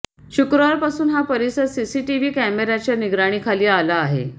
शुक्रवारपासून हा परिसर सीसीटीव्ही कॅमेऱ्याच्या निगराणीखाली आला आहे